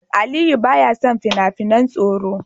Aliyu baya son fina-finan tsoro.